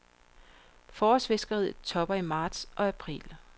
Forårsfiskeriet topper i marts og april.